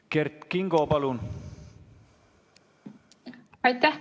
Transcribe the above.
Kert Kingo, palun!